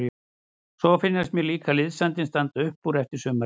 Svo finnst mér líka liðsandinn standa upp úr eftir sumarið.